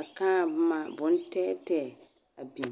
a kaa boma bontɛɛtɛɛ a beŋ.